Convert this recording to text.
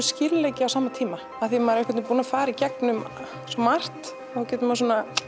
skýrleiki á sama tíma af því að maður er búinn að fara í gegnum svo margt getur maður